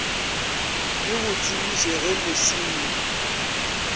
di go tsebiše ge mosenyi